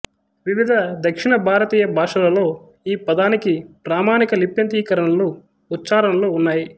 వివిధ దక్షిణ భారతీయ భాషలలో ఈ పదానికి ప్రామాణిక లిప్యంతరీకరణలు ఉచ్చారణలు ఉన్నాయి